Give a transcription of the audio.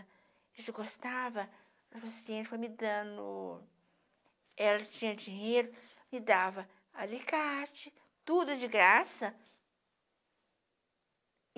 A gente gostava, a paciente foi me dando... Ela tinha dinheiro, me dava alicate, tudo de graça.